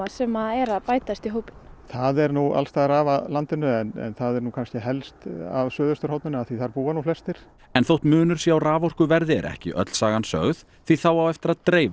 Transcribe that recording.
sem er að bætast í hópinn það er alls staðar að af landinu en það er kannski helst af suðvesturhorninu af því að þar búa nú flestir en þótt munur sé á raforkuverði er ekki öll sagan sögð því þá á eftir að dreifa